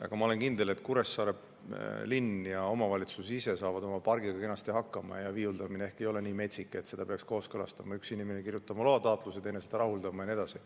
Aga ma olen kindel, et Kuressaare linn ja omavalitsus ise saavad oma pargiga kenasti hakkama ja viiuldamine ehk ei ole nii metsik, et seda peaks kooskõlastama, üks inimene kirjutama loa taotluse ja teine seda rahuldama ja nii edasi.